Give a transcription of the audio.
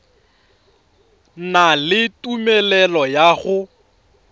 na le tumelelo ya go